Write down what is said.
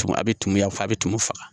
Tumu a bɛ tumuya fɔ a bɛ tumu faga